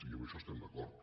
i en això estem d’acord